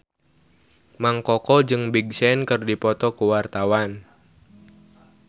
Mang Koko jeung Big Sean keur dipoto ku wartawan